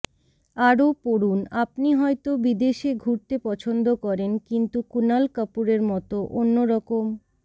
আরও পড়ুন আপনি হয়তো বিদেশে ঘুরতে পছন্দ করেন কিন্তু কুণাল কাপুরের মত অন্যরকম